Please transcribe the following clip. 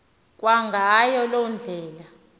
kwangayo loo ndlela